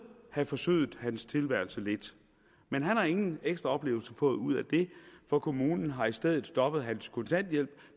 have forsødet hans tilværelse lidt men han har ingen ekstra oplevelser fået ud af det for kommunen har i stedet stoppet hans kontanthjælp